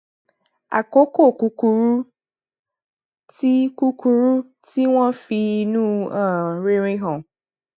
àkókò kúkúrú tí kúkúrú tí wón fi inú um rere hàn